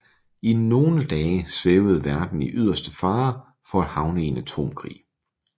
I nogle dage svævede verden i yderste fare for at havne i en atomkrig